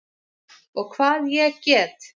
Og hvað ég get!